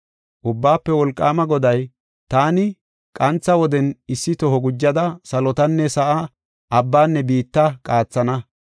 Ubbaafe Wolqaama Goday, “Taani qantha woden issi toho gujada salotanne sa7aa, abbanne biitta qaathana.